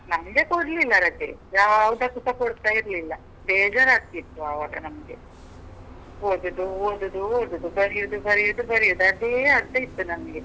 ನಮ್ಗೆ ಕೊಡ್ಲಿಲ್ಲ ರಜೆ. ಯಾವದಕ್ಕೂಸ ಕೊಡ್ತಾ ಇರ್ಲಿಲ್ಲ. ಬೇಜಾರ್ ಆಗ್ತಿತ್ತು ಆವಾಗ ನಮ್ಗೆ. ಓದುದು, ಓದುದು, ಓದುದು. ಬರಿಯುದ್, ಬರಿಯುದ್, ಬರಿಯುದ್, ಅದೇ ಆಗ್ತಾ ಇತ್ತು ನಮ್ಗೆ.